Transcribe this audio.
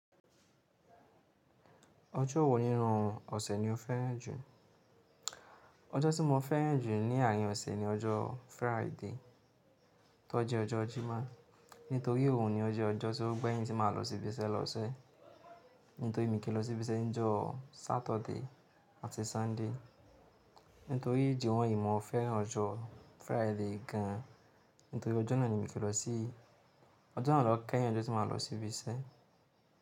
Ojo wo nínú ọ̀sẹ̀ ni o fẹ́ràn jù? Ojo tí mo fẹ́ràn jù ní àárín ọ̀sẹ̀ ni ọjọ́ Friday tó jẹ́ ọjọ́ Jímọ̀. Nítorí òhun ni ó jẹ́ ọjọ́ tí ó gbẹ̀yìn tí màa lọ síbi iṣẹ́ l'ọ́sẹ̀. Nítorí mi kìí lọ sí ibi iṣẹ́ ní ọjọ́ Saturday àti Sunday. Nítorí ìdí wọ́nyìí mo fẹ́ràn ọjọ́ Friday gan. Nítorí ọjọ́ náà ni mi kìí lọ síí, ọjọ́ náà ló kẹ́yìn ọjọ́ tí màa lọ sí ibi iṣẹ́.